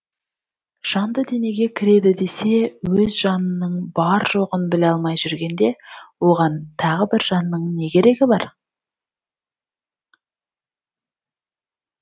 жанды денеге кіреді десе өз жанының бар жоғын біле алмай жүргенде оған тағы бір жанның не керегі бар